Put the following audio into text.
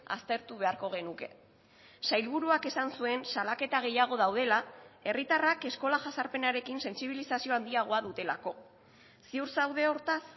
aztertu beharko genuke sailburuak esan zuen salaketa gehiago daudela herritarrak eskola jazarpenarekin sentsibilizazio handiagoa dutelako ziur zaude hortaz